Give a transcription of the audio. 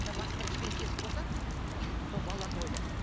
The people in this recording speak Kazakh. мына басыңда кішкене тесік болса вот сол балаларды ойла